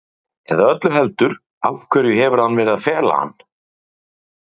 Eða öllu heldur, af hverju hefur hann verið að fela hann?